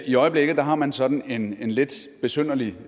i øjeblikket har man sådan en lidt besynderlig